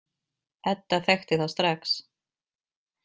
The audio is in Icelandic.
Edda þekkti þá strax.